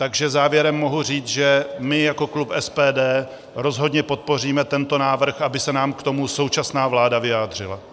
Takže závěrem mohu říct, že my jako klub SPD rozhodně podpoříme tento návrh, aby se nám k tomu současná vláda vyjádřila.